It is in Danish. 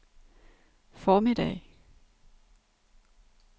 formiddag